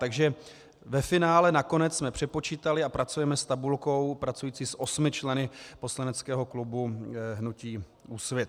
Takže ve finále nakonec jsme přepočítali a pracujeme s tabulkou pracující s 8 členy poslaneckého klubu hnutí Úsvit.